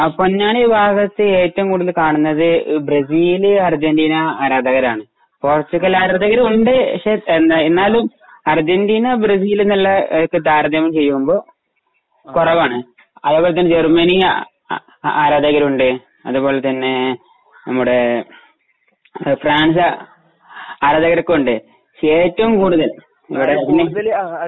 പൊന്നാനി ഭാഗത്തു ഏറ്റവും കൂടുതൽ കാണുന്നത് ബ്രസീൽ, അര്ജന്റീനാ, ആരാധകരാണ്. പോർച്ചുഗൽ ആരാധകരും ഉണ്ട്, എന്നാലും അര്ജന്റീനാ, ബ്രസീൽ ആയിട്ട് താരതമ്യം ചെയ്യുമ്പോൾ കുറവാണ് . അതുപോലെ ജർമനി ആരാധകരുണ്ട്. അതുപോലെതന്നെ നമ്മുടെ ഫ്രാൻസ് ആരാധകരൊക്കെ ഉണ്ട്. ഏറ്റവും കൂടുതൽ